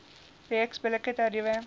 reeks billike tariewe